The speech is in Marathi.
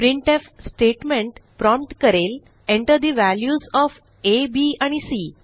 प्रिंटफ स्टेटमेंट प्रॉम्प्ट करेल enter the values of a b आणि सी